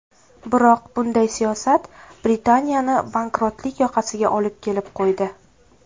Biroq bunday siyosat Britaniyani bankrotlik yoqasiga olib kelib qo‘ydi.